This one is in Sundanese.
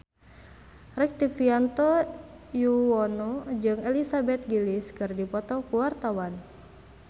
Rektivianto Yoewono jeung Elizabeth Gillies keur dipoto ku wartawan